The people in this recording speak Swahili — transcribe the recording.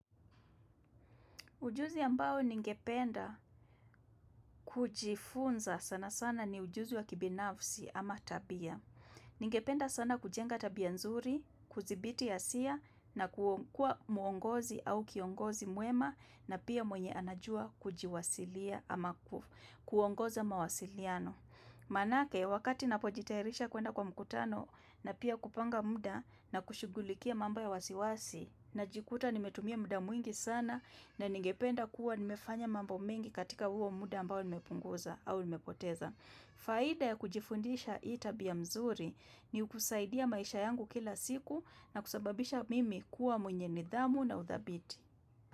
Ujuzi ambao ningependa kujifunza sana sana ni ujuzi wa kibinafsi ama tabia. Ningependa sana kujenga tabia nzuri, kuzibiti ya siya na kuwa muongozi au kiongozi muema na pia mwenye anajua kujiwasilia ama kuongoza mawasiliano. Manake wakati napojitairisha kuenda kwa mkutano na pia kupanga muda na kushugulikia mambo ya wasiwasi Najikuta nimetumia muda mwingi sana na ningependa kuwa nimefanya mambo mingi katika huo muda ambao limepunguza au limepoteza. Faida ya kujifundisha itabia mzuri ni ukusaidia maisha yangu kila siku na kusababisha mimi kuwa mwenye nidhamu na udhabiti.